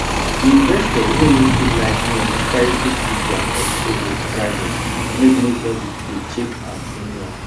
the investor wey no too like noise quietly keep their portfolio private make nobody dey check am anyhow